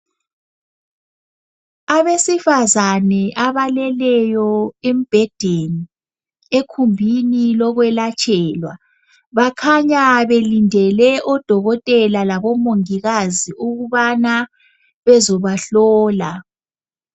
Abesifazane abaleleyo embhedeni egumbini lokwelatshelwa. Bakhanya belindele odokotela labomongikazi ukubana bezobahlola.